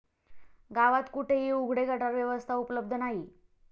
गावात कुठेही उघडे गटार व्यवस्था उपलब्ध नाही.